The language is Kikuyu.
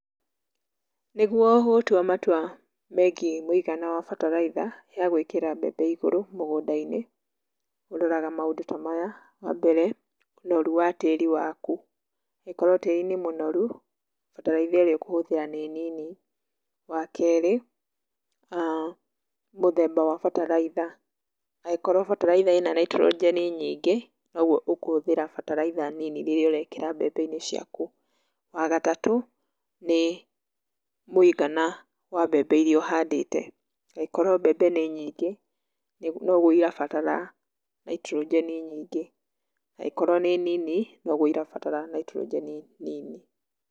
Nĩguo gũtua matua megiĩ mũigana wa bataraitha, ya gwĩkĩra mbembe igũrũ mũgũnda-inĩ, ũroraga maũndũ ta maya; Wa mbere, ũnoru wa tĩri waku, angĩkorwo tĩri nĩ mũnoru, bataraitha ĩrĩa ũkũhũthĩra nĩ nini, wa kerĩ, mũthemba wa bataraitha, angĩkorwo bataraitha ĩna naitrogeni nyingĩ, noguo ũkũhũthĩra bataraitha nini rĩrĩa ũrekĩra mbembe-inĩ ciaku. Wa gatatũ, nĩ mũigana wa mbembe iria ũhandĩte, angĩkorwo mbembe nĩ nyingĩ, noguo irabatara naitrogeni nyingĩ, angĩkorwo nĩ nini, noguo irabatara naitrogeni nini.